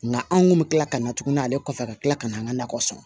Nka anw kun bɛ tila ka na tuguni ale kɔfɛ ka tila ka na an ka nakɔ sɔn